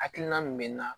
Hakilina min bɛ na